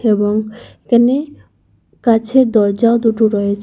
এবং এখানে কাঁচের দরজাও দুটো রয়েছে।